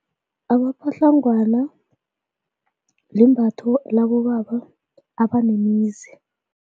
Amapatlangwana limbatho labobaba abanemizi.